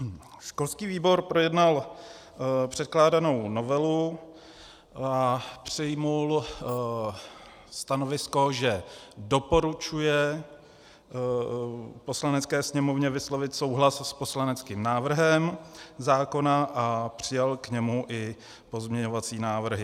Školský výbor projednal předkládanou novelu a přijal stanovisko, že doporučuje Poslanecké sněmovně vyslovit souhlas s poslaneckým návrhem zákona, a přijal k němu i pozměňovací návrhy.